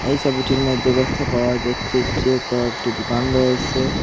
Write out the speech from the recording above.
এই সবিটির মধ্যে দেখতে পাওয়া যাচ্ছে যে কয়েকটি দুকান রয়েসে।